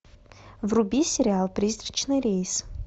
вруби сериал призрачный рейс